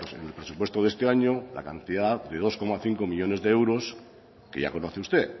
en el presupuesto de este año la cantidad de dos coma cinco millónes de euros que ya conoce usted